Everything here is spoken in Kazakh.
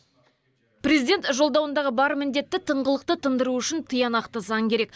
президент жолдауындағы бар міндетті тыңғылықты тындыру үшін тиянақты заң керек